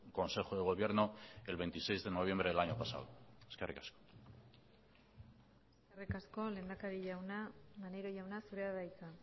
consejo de gobierno el veintiséis de noviembre del año pasado eskerrik asko eskerrik asko lehendakari jauna maneiro jauna zurea da hitza